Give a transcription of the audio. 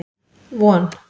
Von